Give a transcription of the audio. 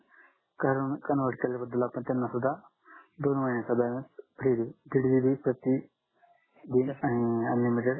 convert केल्या बद्दल आपण त्यांना सुद्धा दोन महिन्याचा बॅलन्स फ्री देऊ दीड GB प्रती दिन अं अनलिमिटेड